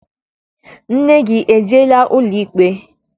Nne gị ejeela ụlọikpe?